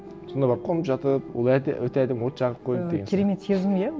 сонда барып қонып жатып ол өте әдемі от жағып қойып і керемет сезім иә